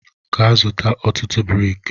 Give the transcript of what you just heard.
Gaa zụta ọtụtụ brik!